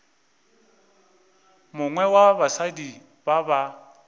mongwe wa basadi ba ba